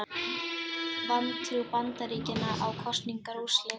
Vantrú Bandaríkjanna á kosningaúrslit